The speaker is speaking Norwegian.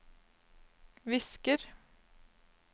visker